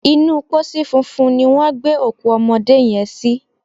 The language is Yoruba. Inú pósí funfun ni wọ́n gbé òkú ọmọdé yẹn sí.